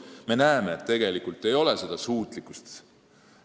Me näeme, et seda suutlikkust tegelikult enam ei ole.